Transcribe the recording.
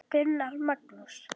Gunnar Magnús.